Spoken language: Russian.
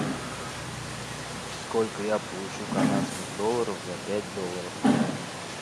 сколько я получу канадских долларов за пять долларов